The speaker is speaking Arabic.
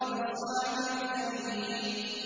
لِّأَصْحَابِ الْيَمِينِ